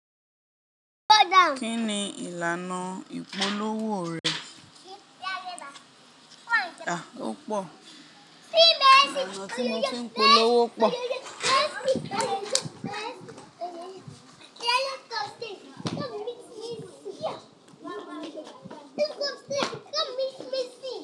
Kí ni ìlànà ìpolówó rẹ̀? Ó pọ̀. Ìlànà tí mo fi ń polówó pọ̀.